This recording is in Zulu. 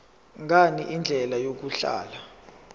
ngani indlela yokuhlola